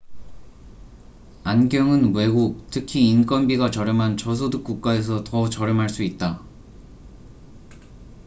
안경은 외국 특히 인건비가 저렴한 저소득 국가에서 더 저렴할 수 있다